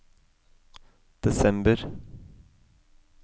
desember